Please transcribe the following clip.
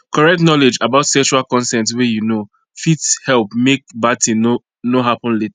correct knowledge about sexual consent way you know fit help make bad thing no no happen later